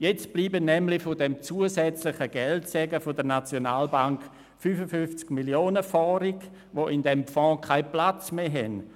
Jetzt sind nämlich von diesem zusätzlichen Geldsegen der SNB 55 Mio. Franken übrig, die im SNB-Gewinnausschüttungsfonds keinen Platz mehr haben.